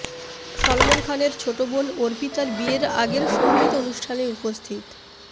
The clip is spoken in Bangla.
সলমন খানের ছোট বোন অর্পিতার বিয়ের আগের সঙ্গীত অনুষ্ঠানে উপস্থিত